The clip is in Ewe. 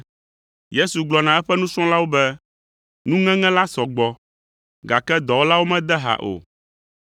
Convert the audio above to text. Yesu gblɔ na eƒe nusrɔ̃lawo be, “Nuŋeŋe la sɔ gbɔ, gake dɔwɔlawo mede ha o.